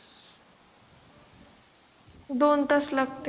दोन तास लागते